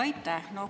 Aitäh!